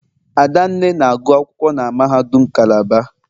Adanne na-agụ akwụkwọ na mahadum Calabar.